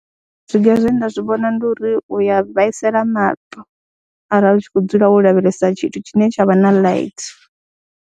Zwiga zwe nda zwi vhona ndi uri u ya vhaisala maṱo arali u tshi khou dzula wo lavhelesa tshithu tshine tsha vha na light.